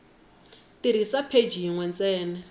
tirhisa pheji yin we ntsena